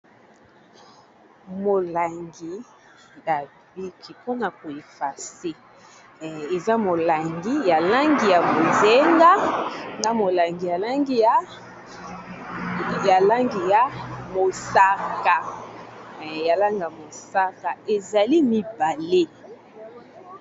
molangi eza na kisi pona ko effacer eza molangi ya langi ya bozinga na molangi ya langi ya mosaka ezali mibale.